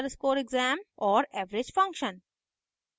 और average function